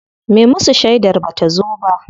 Me musu shedar bata zo ba.